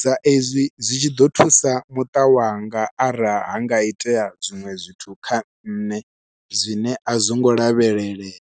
sa izwi zwi tshi ḓo thusa muṱa wanga arali ha nga itea zwiṅwe zwithu kha nṋe zwine a zwingo lavhelelea.